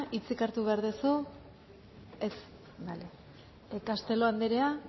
hitzik hartu behar duzu ez castelo andrea